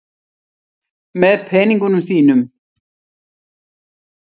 Með peningunum þínum.